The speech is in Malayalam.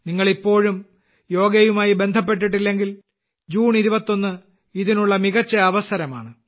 നിങ്ങൾ ഇപ്പോഴും യോഗയുമായി ബന്ധപ്പെട്ടിട്ടില്ലെങ്കിൽ ജൂൺ 21 ഇതിനുള്ള മികച്ച അവസരമാണ്